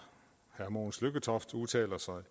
herre mogens lykketoft udtaler sig